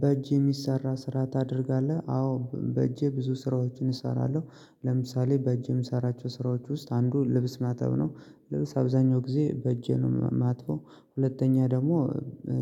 በእጄ የሚሰራ ስራ ታደርጋለህ? አዎ በእጄ ብዙ ስራዎችን እሰራለሁ። ለምሳሌ በእጄ የምሰራቸው ስራዎች ውስጥ አንዱ ልብስ ማጠብ ነው። ልብስ አብዛኛው ጊዜ በእጄ ነው የማጥበው። ሁለተኛ ደግሞ